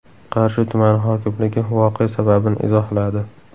Qarshi tumani hokimligi voqea sababini izohladi.